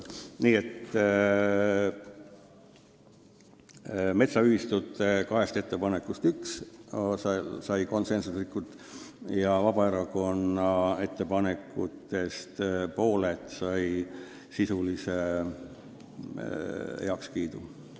Nii et metsaühistute kahest ettepanekust üks sai konsensusliku ja Vabaerakonna ettepanekutest pooled said sisulise heakskiidu.